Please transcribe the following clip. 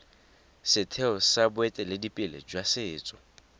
setheo sa boeteledipele jwa setso